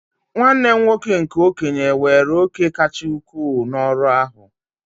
Nwanne m nwoke nke okenye weere òkè kacha ukwuu n'ọrụ ahụ